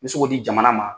N bɛ se k'o di jamana ma